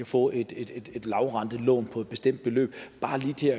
få et lavrentelån på et bestemt beløb bare lige til